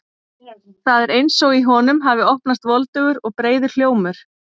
Það er eins og í honum hafi opnast voldugur og breiður hljómur.